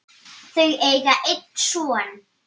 Þau eiga einn son.